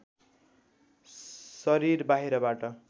शरीर बाहिरबाट